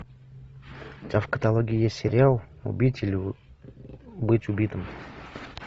у тебя в каталоге есть сериал убить или быть убитым